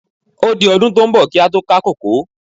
Ó di ọdún tí ó ń bọ̀ kí á tó ká kòkó.